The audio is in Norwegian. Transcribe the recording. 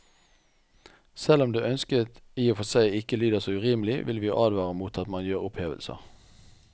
Selv om det ønsket i og for seg ikke lyder så urimelig, vil vi advare mot at man gjør opphevelser.